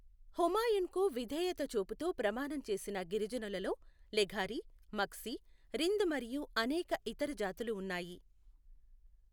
హుమాయున్కు విధేయత చూపుతూ ప్రమాణం చేసిన గిరిజనులలో లెఘారి, మగ్సి, రింద్ మరియు అనేక ఇతర జాతులు ఉన్నాయి.